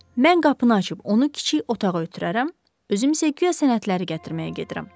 Mən qapını açıb onu kiçik otağa ötürərəm, özüm isə guya sənədləri gətirməyə gedirəm.